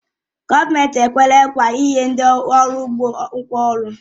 Gọọmenti ekwela nkwa inye ndị uru ugbo ngwá ọrụ